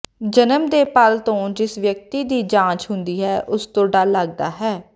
ਜਨਮ ਦੇ ਪਲ ਤੋਂ ਜਿਸ ਵਿਅਕਤੀ ਦੀ ਜਾਂਚ ਹੁੰਦੀ ਹੈ ਉਸ ਤੋਂ ਡਰ ਲੱਗਦਾ ਹੈ